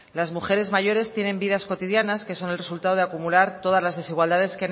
las mujeres mayores tienen vidas cotidianas que son el resultado de acumular todas las desigualdades